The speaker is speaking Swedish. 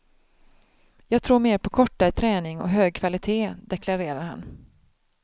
Jag tror mer på kortare träning och hög kvalitet, deklarerar han.